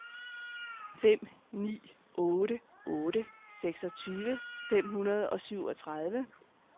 fem ni otte otte seksogtyve fem hundrede og syvogtredive